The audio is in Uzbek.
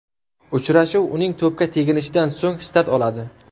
Uchrashuv uning to‘pga teginishidan so‘ng start oladi.